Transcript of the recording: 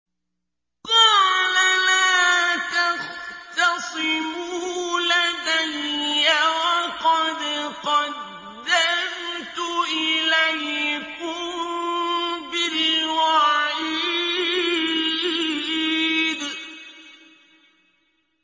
قَالَ لَا تَخْتَصِمُوا لَدَيَّ وَقَدْ قَدَّمْتُ إِلَيْكُم بِالْوَعِيدِ